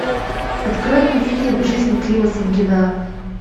открой мне фильм жизнь клима самгина